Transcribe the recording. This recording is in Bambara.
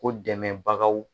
Ko dɛmɛbagaw